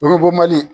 Bɔrɔ bɔ mali